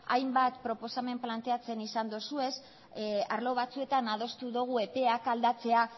hainbat proposamen planteatzen izan dituzue arlo batzuetan adostu dugu epeak aldatzea